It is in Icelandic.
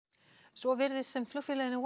svo virðist sem flugfélaginu